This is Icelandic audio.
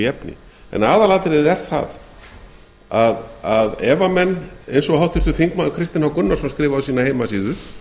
efni en aðalatriðið er það að ef menn eins og háttvirtur þingmaður kristinn h gunnarsson skrifaði á sína heimasíðu